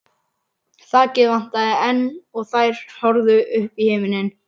Þakið vantaði enn og þær horfðu upp í himininn.